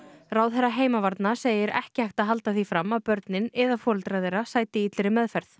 ráðherra heimavarna segir ekki hægt að halda því fram að börnin eða foreldrar þeirra sæti illri meðferð